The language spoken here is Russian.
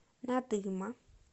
надыма